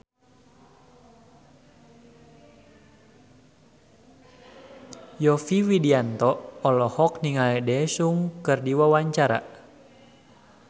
Yovie Widianto olohok ningali Daesung keur diwawancara